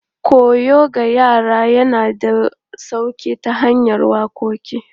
Koyo ga yara yana da sauƙi ta hanyar waƙoƙi.